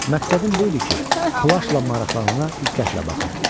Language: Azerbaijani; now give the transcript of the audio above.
Məqsədim bu idi ki, plaşla maraqlanana diqqətlə baxım.